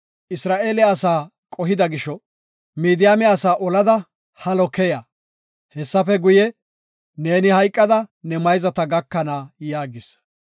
“Isra7eele asaa qohida gisho Midiyaame asaa olada halo keya; hessafe guye, neeni hayqada ne mayzata gakana” yaagis.